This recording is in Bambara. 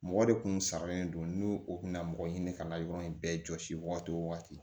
Mɔgɔ de kun sari don n'u o kunna mɔgɔ ɲini ka labɛn yɔrɔ in bɛɛ jɔsi waati o waati